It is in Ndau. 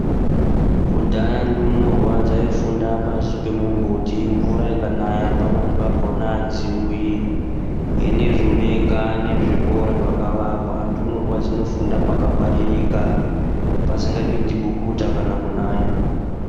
Kudhaya ndumurwa dzaifunda pasi pemumbuti, mvura ikanaya pamweni pakhona hadziuyi. Hinezvi unowo kane zvikora zvakavakwa ndumurwa dzinofunda pakangwaririka pasingapindi bukuta kana kunaya.